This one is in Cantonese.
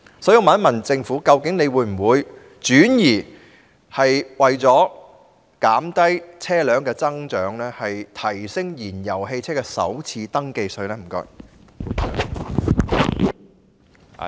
所以，我想問政府究竟會否為了減低車輛數目的增長，轉而調高燃油汽車的首次登記稅？